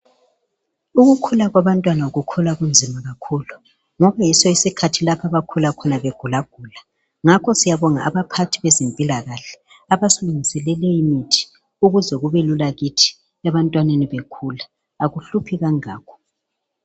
Ukukhula kwabantwana kukhula kunzima kakhulu, ngakho yiso isikhathi lapho abakhula khona begulagula, ngakho siyabonga abaphathi bezempilakahle, abasulungiselele imithi ukuze kubelula kithi, ebantwaneni bekhula, akuhluphi kangako.